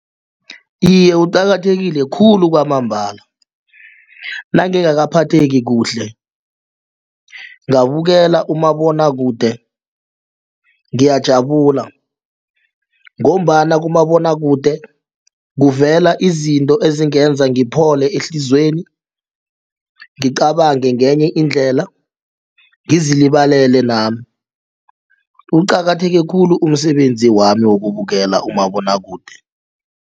Iye, kuqakathekile khulu kwamambala nangingaka phatheki kuhle ngabukela umabonwakude ngiyajabula ngombana kumabonwakude kuvela izinto ezingenza ngiphole ehliziyweni ngicabange ngenye indlela ngizilibalele nami. Uqakatheke khulu umsebenzi wami wokubukela umabonwakude.